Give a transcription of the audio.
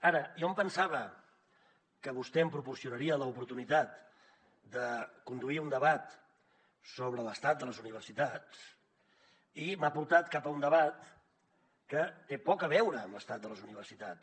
ara jo em pensava que vostè em proporcionaria l’oportunitat de conduir un debat sobre l’estat de les universitats i m’ha portat cap a un debat que té poc a veure amb l’estat de les universitats